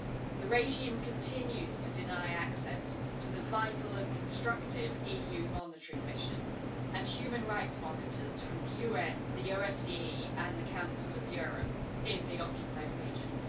The regime continues to deny access to the vital and constructive EU monitoring mission, and human rights monitors from the UN, the OSCE and the Council of Europe, in the occupied regions.